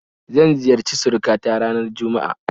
Zan ziyarci suruka ta ranar juma'a